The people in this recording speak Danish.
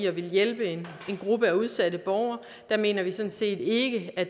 at ville hjælpe en gruppe af udsatte borgere mener vi sådan set ikke er